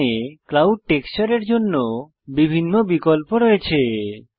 এখানে ক্লাউড টেক্সচারের জন্য বিভিন্ন বিকল্প রয়েছে